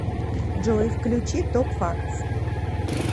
джой включи топ фактс